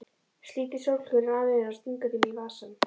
Slítur sólgleraugun af nefinu og stingur þeim í vasann.